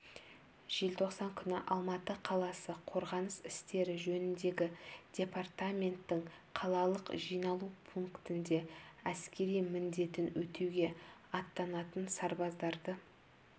желтоқсан күні алматы қаласы қорғаныс істері жөніндегі департаменттің қалалық жиналу пунктінде әскери міндетін өтеуге аттанатын сарбаздарды